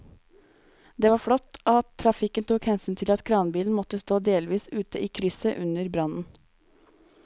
Det var flott at trafikken tok hensyn til at kranbilen måtte stå delvis ute i krysset under brannen.